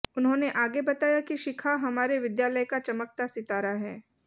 उन्होने आगे बाताया की शिखा हमारे विद्यालय का चमकता सितारा है